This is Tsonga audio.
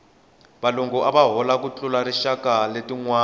valungu ava hola ku tlula tinxaka letinwana